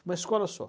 Uma escola só.